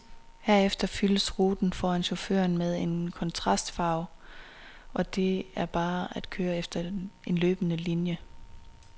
Herefter fyldes ruten foran chaufføren med en kontrastfarve og det er bare at køre efter en løbende linie.